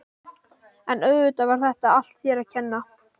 En auðvitað var þetta allt þér að kenna.